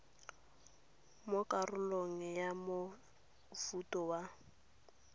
mo karolong ya mofuta wa